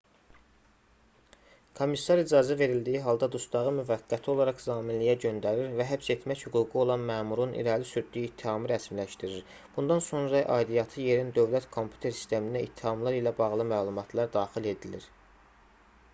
komissar icazə verildiyi halda dustağı müvəqqəti olaraq zaminliyə göndərir və həbs etmək hüququ olan məmurun irəli sürdüyü ittihamı rəsmiləşdirir bundan sonra aidiyyatı yerin dövlət kompüter sisteminə ittihamlar ilə bağlı məlumatlar daxil edilir